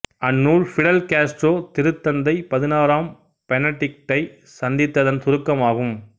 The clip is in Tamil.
அந்நூல் பிடெல் காஸ்ட்ரோ திருத்தந்தை பதினாறாம் பெனடிக்டை சந்தித்ததின் சுருக்கம் ஆகும்